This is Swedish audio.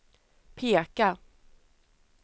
peka